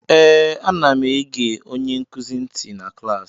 Ee, anam ege onye nkuzi ntị na klaasị